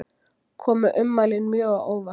Komu ummælin mjög á óvart